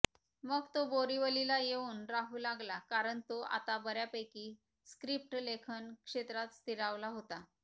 मग तो बोरीवलीला येऊन राहू लागला कारण तो आता बऱ्यापैकी स्क्रिप्ट लेखन क्षेत्रात स्थिरावला होता